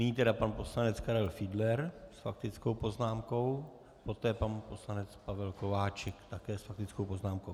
Nyní tedy pan poslanec Karel Fiedler s faktickou poznámkou, poté pan poslanec Pavel Kováčik také s faktickou poznámkou.